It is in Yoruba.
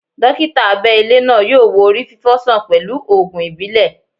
Dókítà abẹ ilé náà yọ wo orí fifo sàn pẹlu ògùn ìbílẹ̀